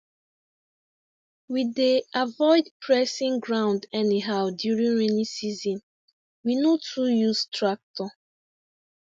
we dey avoid pressing ground anyhow during rainy season we no too use tractor